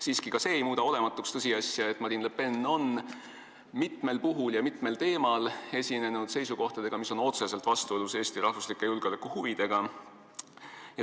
Siiski ei muuda ka see olematuks tõsiasja, et Marine Le Pen on mitmel puhul ja mitme teema kohta esinenud seisukohtadega, mis on otseselt vastuolus Eesti julgeolekuhuvidega.